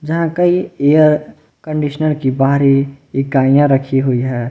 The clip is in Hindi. यहां कई एयर कंडीशनर की बाहरी इकाइयां रखी हुई है।